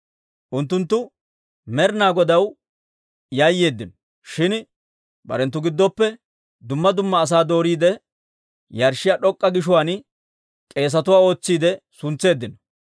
Unttunttu Med'ina Godaw yayyeeddino; shin barenttu giddoppe dumma dumma asaa dooriide, yarshshiyaa d'ok'k'a gishuwaan k'eesatuwaa ootsiide suntseeddino.